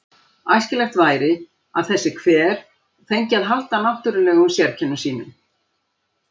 Æskilegt væri að þessi hver fengi að halda náttúrlegum sérkennum sínum.